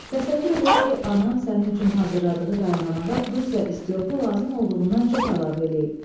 Təsəvvür elə ki, anan sənin üçün hazırladığı qayğanağa duz və istiotu lazım olduğundan çox əlavə eləyib.